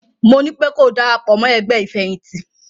Mo nípé ko darapọ̀ mọ́ ẹgbẹ́ ìfẹ̀yìntì!